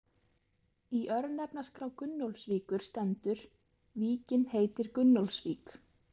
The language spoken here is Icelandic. Í örnefnaskrá Gunnólfsvíkur stendur: Víkin heitir Gunnólfsvík.